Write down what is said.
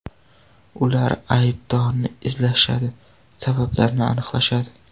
Ular aybdorni izlashadi, sabablarni aniqlashadi.